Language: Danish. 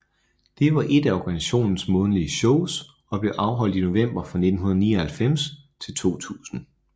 Det var ét af organisationens månedlige shows og blev afholdt i november fra 1999 til 2000